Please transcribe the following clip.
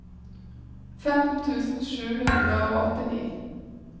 femten tusen sju hundre og åttini